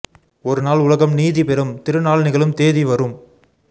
ஒரு நாள் உலகம் நீதி பெறும் திருநாள் நிகழும் தேதி வரும்